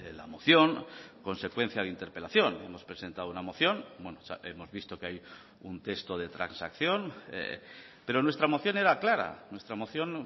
la moción consecuencia de interpelación hemos presentado una moción hemos visto que hay un texto de transacción pero nuestra moción era clara nuestra moción